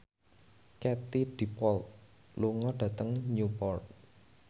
Katie Dippold lunga dhateng Newport